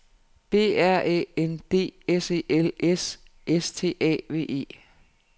B R Æ N D S E L S S T A V E